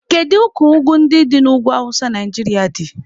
Kedu ka ugwu ndị dị n'ugwu awụsa Naijiria dị?